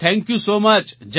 thank you so much